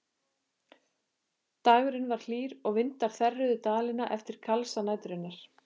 Dagurinn var hlýr og vindar þerruðu Dalina eftir kalsa næturinnar.